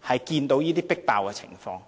看到這種迫爆的情況。